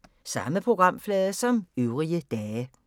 Samme programflade som øvrige dage